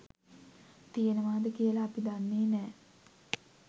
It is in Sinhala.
තියෙනවාද කියලා අපි දන්නේ නෑ.